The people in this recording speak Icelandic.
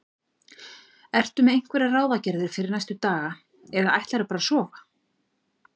Ertu með einhverjar ráðagerðir fyrir næstu daga eða ætlarðu bara að sofa?